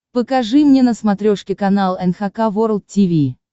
покажи мне на смотрешке канал эн эйч кей волд ти ви